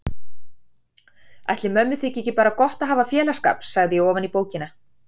Ætli mömmu þyki ekki bara gott að hafa félagsskap, sagði ég ofan í bókina.